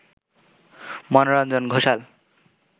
Manoranjan Ghoshal